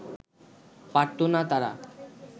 পারত না তারা